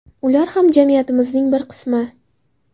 Ular ham jamiyatimizning bir qismi.